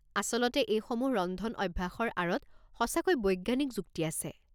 আচলতে এইসমূহ ৰন্ধন অভ্যাসৰ আঁৰত সঁচাকৈ বৈজ্ঞানিক যুক্তি আছে।